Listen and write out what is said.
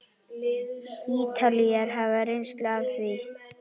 Ítalir hafa reynslu af því.